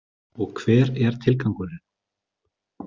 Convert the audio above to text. Og hver er tilgangurinn?